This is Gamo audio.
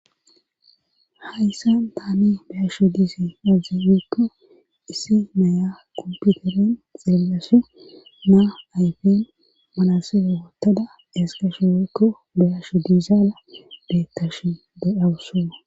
hayssan taani beyasho dizay aze gikko issi naya komputeren xeellashe naa ayfen malasele woottada ezgashe woykko beyasho diizaara beettash de'awusu